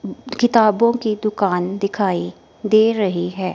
किताबों की दुकान दिखाएं दे रही है।